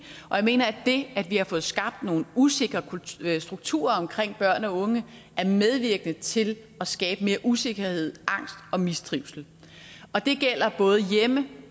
og jeg mener at det at vi har fået skabt nogle usikre strukturer omkring børn og unge er medvirkende til at skabe mere usikkerhed angst og mistrivsel det gælder både hjemme